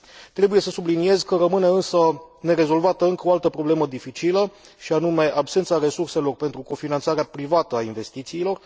Trebuie să subliniez că rămâne, însă, nerezolvată încă o altă problemă dificilă și anume absența resurselor pentru cofinanțarea privată a investițiilor.